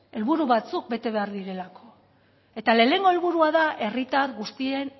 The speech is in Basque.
helburu batzuk bete behar direlako eta lehenengo helburua da herritar guztien